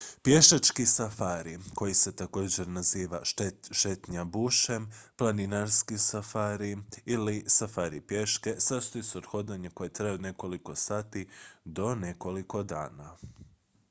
"pješački safari koji se također naziva "šetnja bushem" "planinarski safari" ili "safari pješke" sastoji se od hodanja koje traje od nekoliko sati do nekoliko dana.